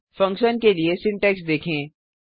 function के लिए syntax देखें